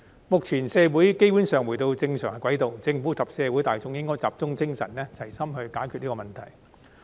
目前，社會基本上已回到正常軌道，政府及社會大眾應集中精神，齊心解決這問題。